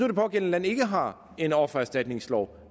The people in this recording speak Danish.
det pågældende land ikke har en offererstatningslov